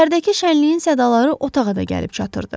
Şəhərdəki şənliyin sədaları otağa da gəlib çatırdı.